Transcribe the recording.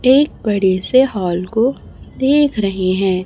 एक बड़े से हाल को देख रहे हैं।